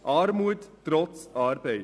Armut trotz Arbeit.